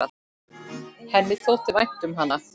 Henni þótti vænt um hana.